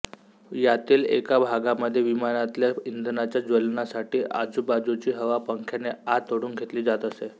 यातील एका भागामध्ये विमानातल्या इंधनाच्या ज्वलनासाठी आजूबाजूची हवा पंख्याने आत ओढून घेतली जात असते